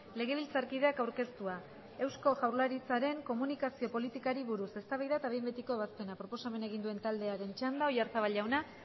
legebiltzarkideak aurkeztua eusko jaurlaritzaren komunikazio politikari buruz eztabaida eta behin betiko ebazpena proposamena egin duen taldearen txanda oyarzabal jauna